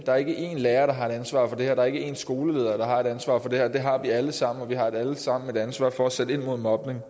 der ikke er én lærer at der ikke er én skoleleder der alene har et ansvar for det her det har vi alle sammen og vi har alle sammen et ansvar for at sætte ind mod mobning